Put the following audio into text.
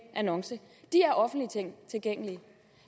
annonce er offentligt tilgængelige